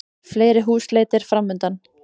Fleiri húsleitir framundan